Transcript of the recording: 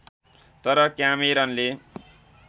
तर क्यामेरनले